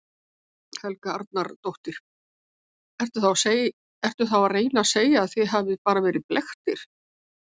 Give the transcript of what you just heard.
Helga Arnardóttir: Ertu þá að reyna að segja að þið hafið bara verið blekktir?